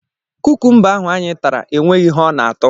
Kukumba ahụ anyị tara enweghị ihe ọ na-atọ.